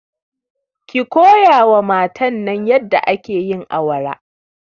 ki koyawa matan nan yadda ake yin awara